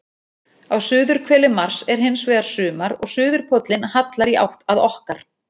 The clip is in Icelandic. Á suðurhveli Mars er hins vegar sumar og suðurpóllinn hallar í átt að okkar.